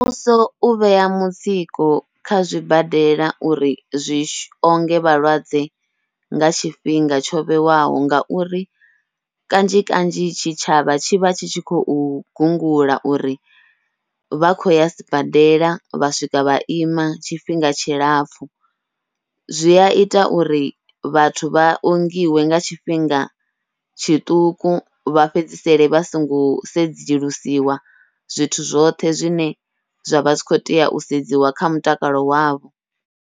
Muvhuso u vheya mutsiko kha zwibadela uri zwi onge vhalwadze nga tshifhinga tsho vhewaho, ngauri kanzhi kanzhi tshi tshavha tshi vha tshi tshi khou gungula uri vha khou ya sibadela vha swika vha ima tshifhinga tshilapfhu. Zwi aita uri vhathu vha ongiwe nga tshifhinga tshiṱuku, vha fhedzisele vha songo sedzulusiwa zwithu zwoṱhe zwine zwavha zwi kho tea u sedziwa kha mutakalo wavho.